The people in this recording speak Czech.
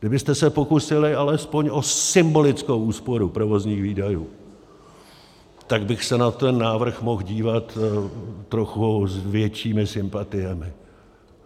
Kdybyste se pokusili alespoň o symbolickou úsporu provozních výdajů, tak bych se na ten návrh mohl dívat trochu s většími sympatiemi.